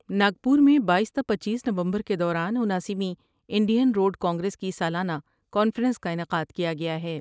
ناگپور میں بایس تا پنچیس نومبر کے دوران اناسی ویں انڈین روڈ کانگریس کی سالانہ کانفرنس کا انعقادکیا گیا ہے۔